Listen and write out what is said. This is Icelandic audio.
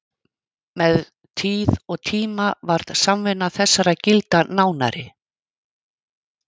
Með tíð og tíma varð samvinna þessara gilda nánari.